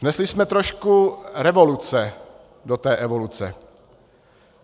Vnesli jsme trošku revoluce do té evoluce.